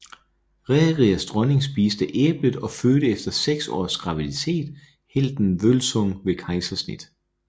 Rerirs dronning spiste æblet og fødte efter seks års graviditet helten Vølsung ved kejsersnit